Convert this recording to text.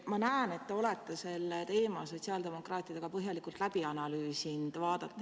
Ma näen, et te olete selle teema sotsiaaldemokraatidega põhjalikult läbi analüüsinud, vaadates ...